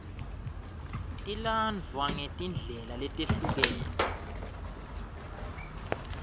tilandvwa ngetindlela letehlukene